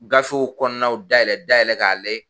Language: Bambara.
Gafew kɔnɔnaw dayɛlɛ dayɛlɛ k'a layɛ